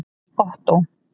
Ottó